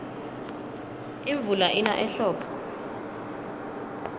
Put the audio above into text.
imvula ina ehlobo